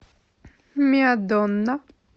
миа донна